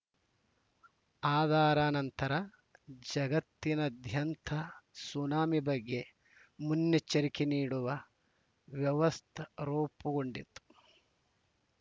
ಅದಾರ ನಂತರ ಜಗತ್ತಿನಾದ್ಯಂತ ಸುನಾಮಿ ಬಗ್ಗೆ ಮುನ್ನೆಚ್ಚರಿಕೆ ನೀಡುವ ವ್ಯವತ್ ರೂಪುಗೊಂಡಿತು